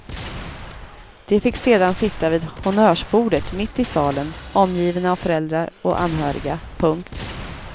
De fick sedan sitta vid honnörsbordet mitt i salen omgivna av föräldrar och anhöriga. punkt